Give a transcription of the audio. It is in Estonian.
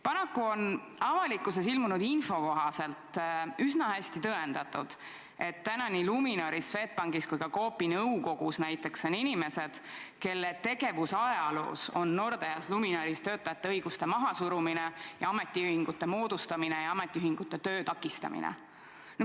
Paraku on avalikkuses ilmunud info kohaselt üsna hästi tõendatud, et nii Luminoris, Swedbankis kui ka Coopi nõukogus näiteks on inimesed, kelle tegevust on Nordeas ja Luminoris iseloomustanud ka töötajate õiguste mahasurumine ja ametiühingute töö takistamine.